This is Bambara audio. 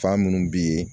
Fa minnu bi ye